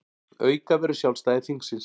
Auka verður sjálfstæði þingsins